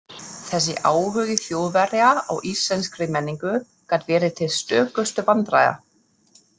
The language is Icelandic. Þessi áhugi Þjóðverja á íslenskri menningu gat verið til stökustu vandræða.